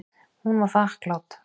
Hún var þakklát.